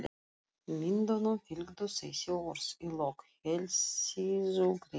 Myndunum fylgdu þessi orð í lok heilsíðugreinar